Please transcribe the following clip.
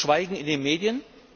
Schweigen in den Medien.